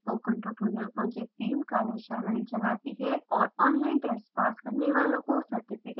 spoken tutorial project team कार्यशालाएं चलाती है और ऑनलाइन टेस्ट पास करने वालों को सर्टिफिकेट देती है